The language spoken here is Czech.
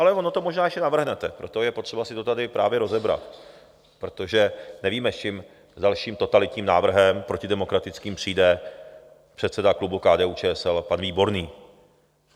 Ale ono to možná ještě navrhnete, proto je potřeba si to tady právě rozebrat, protože nevíme, s čím, dalším totalitním návrhem, protidemokratickým přijde předseda klubu KDU-ČSL pan Výborný.